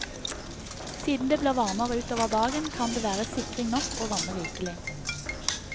Siden det blir varmere utover dagen, kan det være sikring nok bare å vanne rikelig.